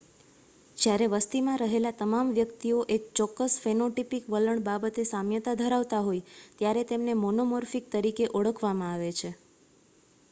જ્યારે વસ્તીમાં રહેલા તમામ વ્યક્તિઓ એક ચોક્કસ ફેનોટીપીક વલણ બાબતે સામ્યતા ધરાવતા હોય ત્યારે તેમને મોનોમોર્ફીક તરીકે ઓળખવામાં આવે છે